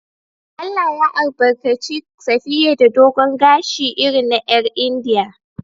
Allah ya albarkace Safiya da dogon gashi irin na 'yar Indiya.